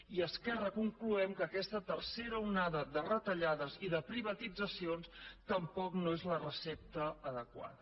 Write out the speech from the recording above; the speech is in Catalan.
i a esquerra concloem que aquesta tercera onada de retallades i de privatitzacions tampoc no és la recepta adequada